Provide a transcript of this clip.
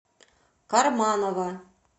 карманова